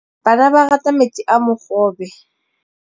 Bana ba rata metsi a mogobe.